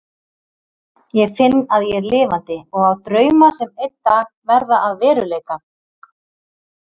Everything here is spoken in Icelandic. Ég finn að ég er lifandi og á drauma sem einn dag verða að veruleika.